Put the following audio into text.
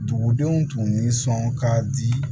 Dugudenw tun ni sɔn k'a di